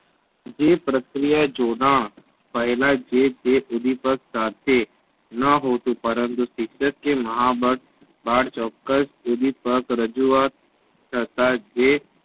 જે પ્રક્રિયા જોડાણ પેહલા જે તે ઓડિપગ સાથે ન હોતું પરંતુ શિક્ષકાએ મહાબળ ચોક્કસ ઉંધીપગ રજૂઆત કરતા જે